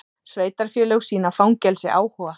Sveitarfélög sýna fangelsi áhuga